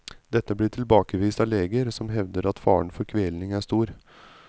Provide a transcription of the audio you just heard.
Dette blir tilbakevist av leger, som hevder at faren for kvelning er stor.